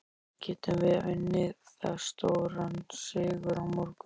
Getum við unnið það stóran sigur á morgun?